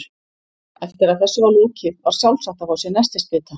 Eftir að þessu var lokið var sjálfsagt að fá sér nestisbita.